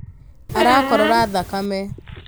Arakorora thakame